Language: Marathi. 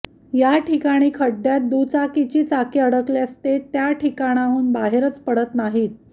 याठिकाणी खड्ड्यात दुचाकीची चाके अडकल्यास ते त्या ठिकाणाहून बाहेरच पडत नाहीत